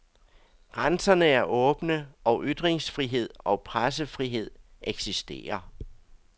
Grænserne er åbne og ytringsfrihed og pressefrihed eksisterer.